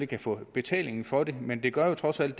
kan få betaling for det men det gør jo trods alt